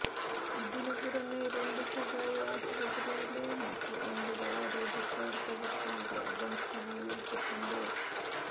ഇതിന് പുറമെ രണ്ട് സ്വകാര്യ ആശുപത്രിയിലെ മറ്റ് ഒമ്പത് ആരോഗ്യ പ്രവർത്തകർക്കും രോഗം സ്ഥിരീകരിച്ചിട്ടുണ്ട്